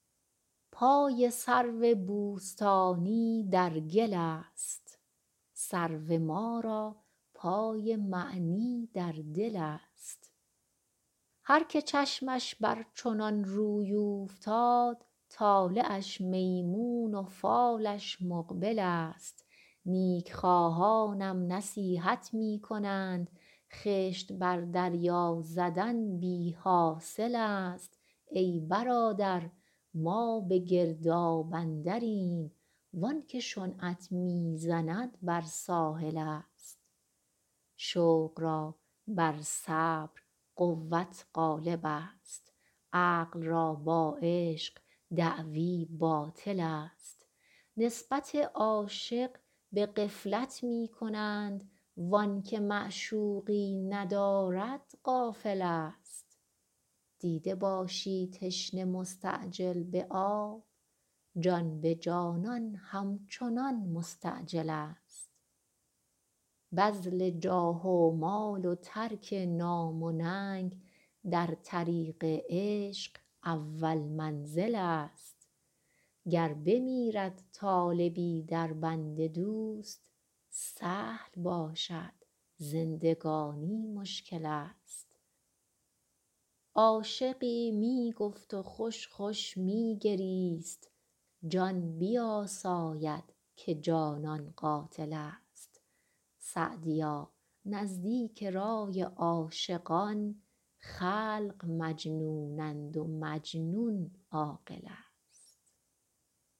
پای سرو بوستانی در گل است سرو ما را پای معنی در دل است هر که چشمش بر چنان روی اوفتاد طالعش میمون و فالش مقبل است نیک خواهانم نصیحت می کنند خشت بر دریا زدن بی حاصل است ای برادر ما به گرداب اندریم وان که شنعت می زند بر ساحل است شوق را بر صبر قوت غالب است عقل را با عشق دعوی باطل است نسبت عاشق به غفلت می کنند وآن که معشوقی ندارد غافل است دیده باشی تشنه مستعجل به آب جان به جانان همچنان مستعجل است بذل جاه و مال و ترک نام و ننگ در طریق عشق اول منزل است گر بمیرد طالبی در بند دوست سهل باشد زندگانی مشکل است عاشقی می گفت و خوش خوش می گریست جان بیاساید که جانان قاتل است سعدیا نزدیک رای عاشقان خلق مجنونند و مجنون عاقل است